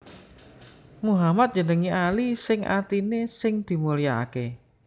Muhammad njenengi Ali sing artiné sing dimulyakaké